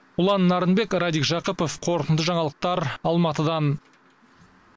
ұлан нарынбек радик жақыпов қорытынды жаңалықтар алматыдан